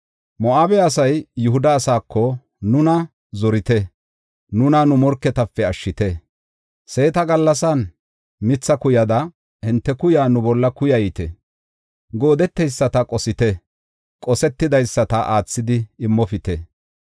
Moo7abe asay Yihuda asaako, “Nuna zorite; nuna nu morketape ashshite; seeta gallasan mitha kuyada hinte kuyaa nu bolla kuyayte. Goodeteyisata qosite; qosetidaysata aathidi immopite.